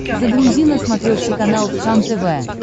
загрузи на смотрешке канал кхлм тв